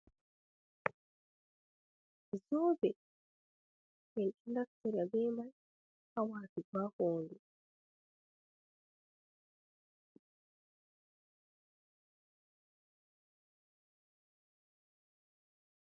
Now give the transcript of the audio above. Zoobe, ɓe ɗon naftira bee may, haa waatugo haa hoondu.